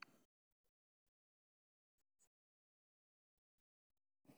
Dadku waxay u baahan yihiin aqoonsi si ay ganacsi u bilaabaan.